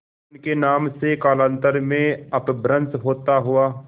उनके नाम से कालांतर में अपभ्रंश होता हुआ